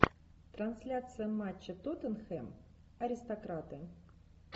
трансляция матча тоттенхэм аристократы